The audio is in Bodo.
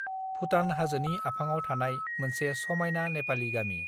भुटान हाजोनि आफाङाव थानाय मोनसे समाइना नेपालि गामि